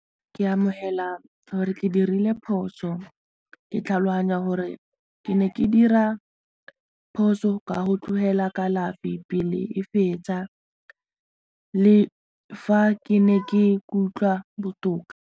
Ka amogela gore ke dirile phoso, ke tlhaloganya gore ke ne ke dira phoso ka go tlogela kalafi pele e fetsa le fa ke ne ke ikutlwa botoka.